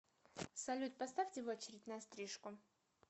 салют поставьте в очередь на стрижку